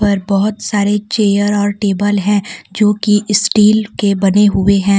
पर बहुत सारे चेयर और टेबल है जो कि स्टील के बने हुए हैं।